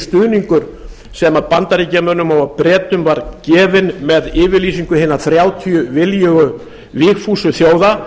stuðningur sem bandaríkjamönnum og bretum var gefinn með yfirlýsingu hinna þrjátíu viljugu vígfúsu þjóða